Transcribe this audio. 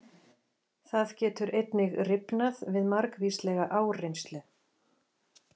Það getur einnig rifnað við margvíslega áreynslu.